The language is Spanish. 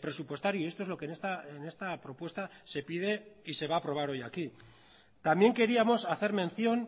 presupuestario y esto es lo que en esta propuesta se pide y se va a aprobar hoy aquí también queríamos hacer mención